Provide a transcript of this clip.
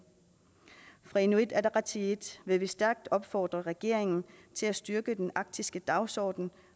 fra inuit ataqatigiit vil stærkt opfordre regeringen til at styrke den arktiske dagsorden